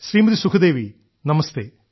Shrimati Sukhdevi നമസ്തേ